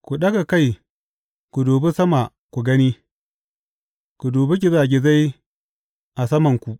Ku ɗaga kai ku dubi sama ku gani; ku dubi gizagizai a samanku.